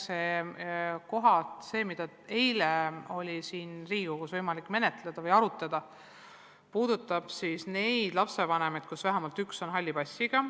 See eelnõu, mida eile oli siin Riigikogus võimalik arutada, puudutab neid lapsi, kelle vanematest vähemalt üks on halli passiga.